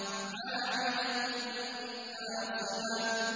عَامِلَةٌ نَّاصِبَةٌ